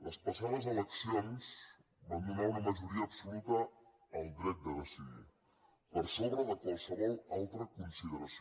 les passades eleccions van donar una majoria absoluta al dret de decidir per sobre de qualsevol altra consideració